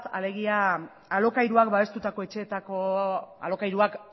alegia alokairuak babestutako etxeetako alokairuak